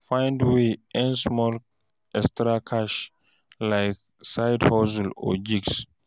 Find way earn small extra cash like side hustle or gigs